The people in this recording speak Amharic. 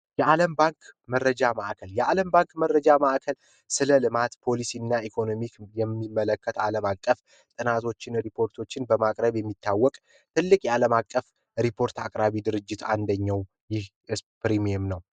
የአለም ባንክ መረጃ ማዕከል የአለም ባንክ መረጃ ማዕከል ስለ ልማት ፣ፓሊሲ እና ኢኮኖሚክ የሚመለከት አለም አቀፍ ጥናቶችን ሪፓርቶችን በማቅረብ የሚታወቅ ትልቅ አለም አቀፍ አንደኛው ፕሪሚየም ነው።